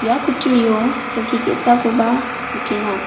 ia kutturio kelki ge·sakoba nikenga.